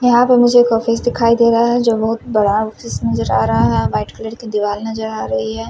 यहाँ पर मुझे एक ऑफिस दिखाई दे रहा है जो बोहोत बड़ा ऑफिस नज़र आ रहा है वाइट कलर की दिवार नज़र आ रही है।